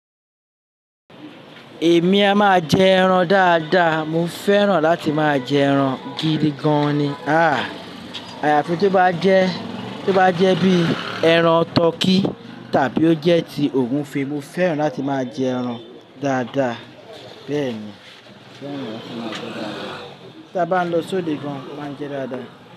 Èmi a máa jẹ ẹran dáadáa. Mo fẹ́ràn láti máa jẹ ẹran gidi gan ni. Ah! Àyàfi tó bá jẹ́, tó bá jẹ́ bíi ẹran tọkí tàbí ó jẹ́ ti ògúnfe. Mo fẹ́ràn láti máa jẹ ẹran dáadáa. Bẹ́ẹ̀ ni. Tí a bá ń lọ sóde gan, máa n jẹ dáadáa.